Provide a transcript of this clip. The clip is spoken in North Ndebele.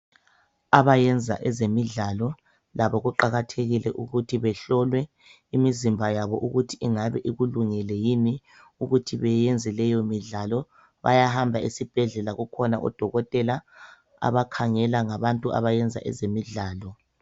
Abayenza ezemidlalo labo kuqakathekile ukuthi behlolwe imizimba yabo ukuthi ingabe ikulungele yini ukuthi beyenze leyo midlalo bayahamba esibhedlela kukhona odokotela abakhangela ngabantu abayenza ezemidlalo .